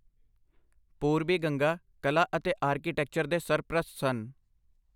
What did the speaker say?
ਪੂਰਬੀ ਗੰਗਾ ਕਲਾ ਅਤੇ ਆਰਕੀਟੈਕਚਰ ਦੇ ਸਰਪ੍ਰਸਤ ਸਨ।